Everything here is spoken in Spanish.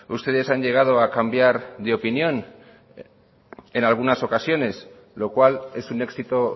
ustedes han llegado a cambiar de opinión en algunas ocasiones lo cual es un éxito